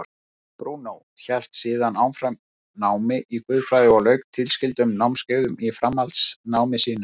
Brúnó hélt síðan áfram námi í guðfræði og lauk tilskildum námskeiðum í framhaldsnámi sínu.